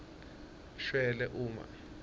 shwele uma